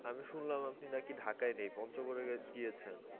আমি শুনলাম আপনি নাকি ঢাকায় নেই পঞ্চগড়ে গিয়েছেন